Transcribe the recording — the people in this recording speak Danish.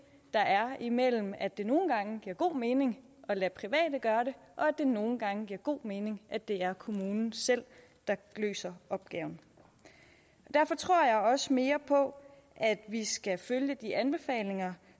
der er imellem at det nogle gange giver god mening at lade private gøre det og at det nogle gange giver god mening at det er kommunen selv der løser opgaven og derfor tror jeg også mere på at vi skal følge de anbefalinger